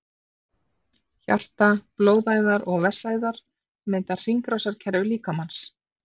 Hjarta, blóðæðar og vessaæðar mynda hringrásarkerfi líkamans.